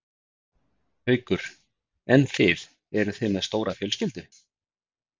Haukur: En þið, eruð þið með stóra fjölskyldu?